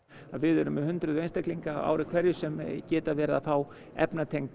við erum með hundruð einstaklinga á ári hverju sem geta verið að fá